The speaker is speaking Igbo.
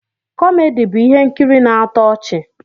Kọmedi bụ ihe nkiri na-atọ ọchị.